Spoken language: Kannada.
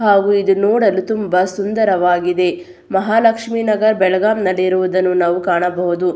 ಹಾಗು ಇದು ನೋಡಲು ತುಂಬಾ ಸುಂದರವಾಗಿದೆ. ಮಹಾಲಕ್ಷ್ಮಿ ನಗರ್ ಬೆಳಗಾಂನಲ್ಲಿ ಇರುವುದನ್ನು ನಾವು ಕಾಣಬಹುದು.